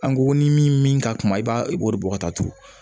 An ko ko ni min ka kuma i b'a i b'o de bɔ ka taa turu